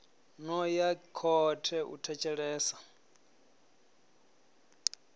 no ya khothe u thetshelesa